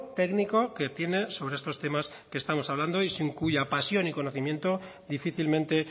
técnico que tiene sobre estos temas que estamos hablando y sin cuya pasión y conocimiento difícilmente